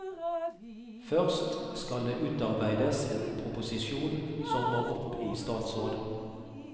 Først skal det utarbeides en proposisjon som må opp i statsråd.